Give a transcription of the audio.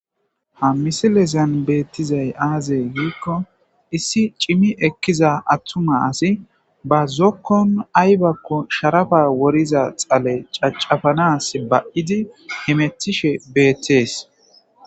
ha misilezan beettizay aazey yiikko issi cimi ekkiza attuma asi ba zokkon aybakko sharafa woriza xale cacafanas ba7idi hemetishe beettees